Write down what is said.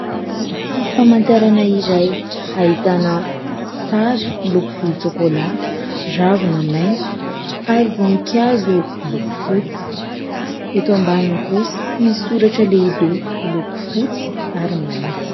Sary famantarana iray ahitana sary miloko volontsôkôlahy, ravina maitso ary voninkazo miloko fotsy. Eto ambaniny kosa misy soratra lehibe miloko fotsy ary mainty.